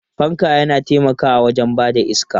Fanka yana taimakawa wajen ba da iska.